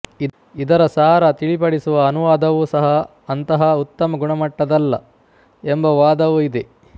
ಇದರ ಸಾರ ತಿಳಿಪಡಿಸುವ ಅನುವಾದವೂ ಸಹ ಅಂತಹ ಉತ್ತಮ ಗುಣಮಟ್ಟದಲ್ಲ ಎಂಬ ವಾದವೂ ಇದೆ